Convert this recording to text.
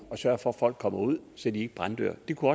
sørge for at folk kommer ud så de ikke brænder inde det kunne